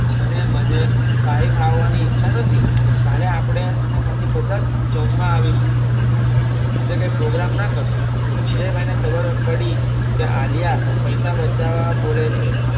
અને મને કઈ ખાવાની ઈચ્છા નથી કાલે આપણે અને મમ્મી બધા જ જમવા આવીશું આજે કઈ પ્રોગ્રામ ના કરશો વિજયભાઇ ને ખબર પડી કે આલિયા પૈસા બચાવા બોલે છે